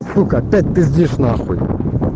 сука опять пиздиш на хуй